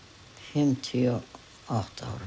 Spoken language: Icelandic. fimmtíu og átta ára